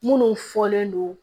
Minnu fɔlen don